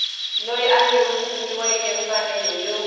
loyi a nyikiweke mfanelo yo